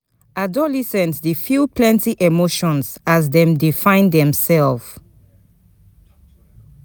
Adolescents dey feel plenty emotions as dem dey find demself.